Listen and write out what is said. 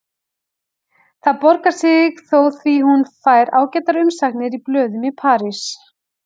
Það borgar sig þó því hún fær ágætar umsagnir í blöðum í París.